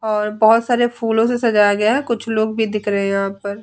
और बोहोत सारे फूलो से सजाया गया है। कुछ लोग भी दिख रहे हैं यहाँ पर।